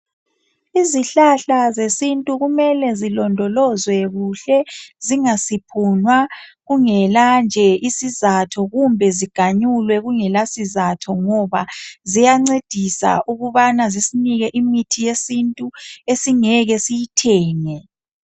izihlahla zesintu kumele zilondolozwe kuhle zingasiphunwa kungela nje isizatho kumbe ziganyulwe kungela sizatho ngoba ziyancedisa ukubana zisinike imithi yesintu esingeke siyithenge